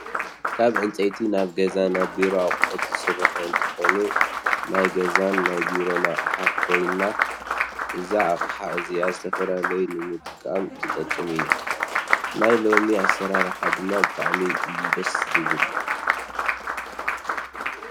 ካብ ዕንፀይቲ ናይ ገዛን ናይ ቢሮን ኣቁሑት ዝስርሑ እንትኮኑ ናይ ገዛን ናይ ቢሮን ኣቅሓ ኮይና እዛ ኣቅሓ እዚያ ዝተፈላለዩ ንምቅማጥ ትጠቅም እያ። ናይ ሎሚ ኣሰራርሓ ድማ ብጣዕሚ እዩ ደስስስ! ዝብል።